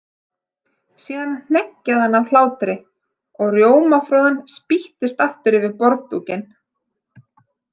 Síðan hneggjaði hann af hlátri og rjómafroðan spýttist aftur yfir borðdúkinn.